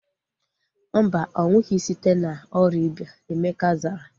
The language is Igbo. Mba, ọnwụghi site na ọrịa ịba. Emeka zara